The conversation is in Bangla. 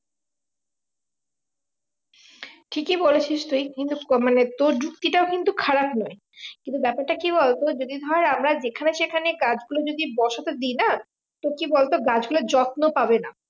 ঠিকই বলেছিস তুই কিন্তু মানে তোর যুক্তি টাও কিন্তু খারাপ নয় কিন্তু ব্যাপারটা কি বলতো যদি ধর আমরা যেখানে সেখানে গাছ গুলো যদি বসাতে দিই না তো কি বলতো গাছ গুলোর যত্ন পাবে না